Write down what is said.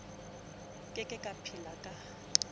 ke ke a phela ka